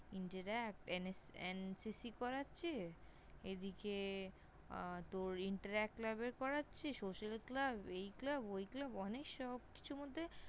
Interact NCC করাচ্ছে। এদিকে আহ তোর Interact Club এর করাচ্ছে, Social Club, এই Club, ওই Club অনেক সবকিছুর মধ্যে